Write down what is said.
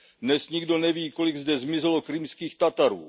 Dnes nikdo neví, kolik zde zmizelo Krymských Tatarů.